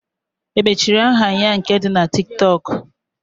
Emechi aha ya nke di na Tiktok?